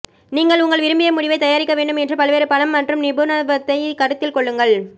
நீங்கள் உங்கள் விரும்பிய முடிவைத் தயாரிக்க வேண்டும் என்று பல்வேறு பலம் மற்றும் நிபுணத்துவத்தை கருத்தில் கொள்ளுங்கள்